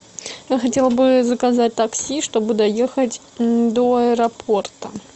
я хотела бы заказать такси чтобы доехать до аэропорта